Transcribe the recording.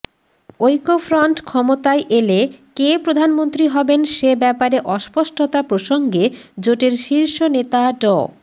ঐক্যফ্রন্ট ক্ষমতায় এলে কে প্রধানমন্ত্রী হবেন সে ব্যাপারে অস্পষ্টতা প্রসঙ্গে জোটের শীর্ষ নেতা ড